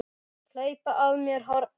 Hlaupa af mér hornin.